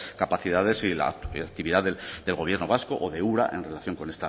capacidades y la actividad del gobierno vasco o de ura en relación con